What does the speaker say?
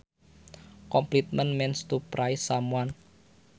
Compliment means to praise someone